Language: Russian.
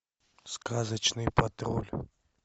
сказочный патруль